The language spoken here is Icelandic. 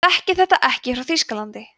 ég þekki þetta ekki frá þýskalandi